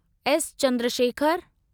S Chandrashekhar